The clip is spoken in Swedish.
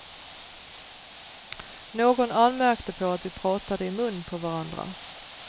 Någon anmärkte på att vi pratade i mun på varandra.